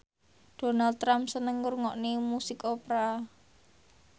Donald Trump seneng ngrungokne musik opera